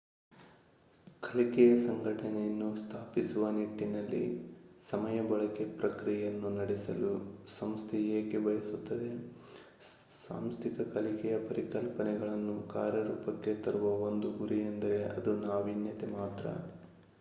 ಕಲಿಕೆಯ ಸಂಘಟನೆಯನ್ನು ಸ್ಥಾಪಿಸುವ ನಿಟ್ಟಿನಲ್ಲಿ ಸಮಯ ಬಳಕೆ ಪ್ರಕ್ರಿಯೆಯನ್ನು ನಡೆಸಲು ಸಂಸ್ಥೆಯು ಏಕೆ ಬಯಸುತ್ತದೆ ಸಾಂಸ್ಥಿಕ ಕಲಿಕೆಯ ಪರಿಕಲ್ಪನೆಗಳನ್ನು ಕಾರ್ಯರೂಪಕ್ಕೆ ತರುವ ಒಂದು ಗುರಿಯೆಂದರೆ ಅದು ನಾವೀನ್ಯತೆ ಮಾತ್ರ